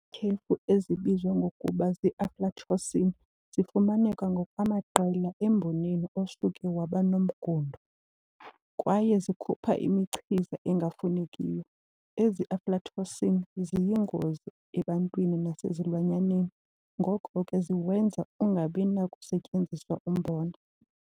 Iityhefu ezibizwa ngokuba zii-aflatoxin zifumaneka ngokwamaqela emboneni osuke waba nomngundo kwaye zikhupha imichiza engafunekiyo. Ezi-aflatoxin ziyingozi ebantwini nasezilwanyaneni ngoko ke ziwenza ungabi nakusetyenziswa umbona.